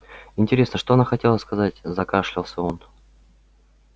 интересно что она хотела сказать закашлялся он